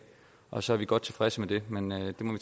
og så er vi godt tilfredse med det men